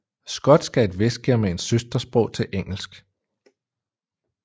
Skotsk er et vestgermansk søstersprog til engelsk